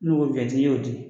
N'u ko wiyɛnti i y'o di